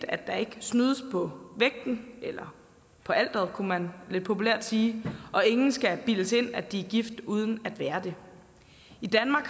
at der ikke snydes på vægten eller på alteret kunne man lidt populært sige og ingen skal bildes ind at de er gift uden at være det i danmark